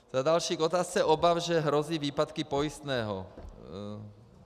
Za další, k otázce obav, že hrozí výpadky pojistného.